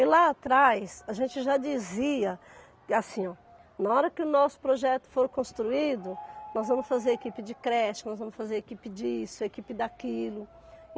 E lá atrás, a gente já dizia, assim, ó, na hora que o nosso projeto for construído, nós vamos fazer equipe de creche, nós vamos fazer equipe disso, equipe daquilo.